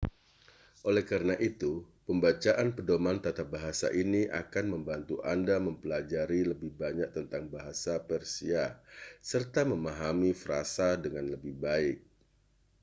oleh karena itu pembacaan pedoman tata bahasa ini akan membantu anda mempelajari lebih banyak tentang tata bahasa persia serta memahami frasa dengan lebih baik